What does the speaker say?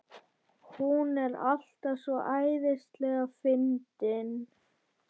Hún er alltaf svo æðislega fyndin.